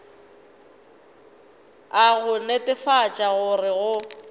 a go netefatša gore go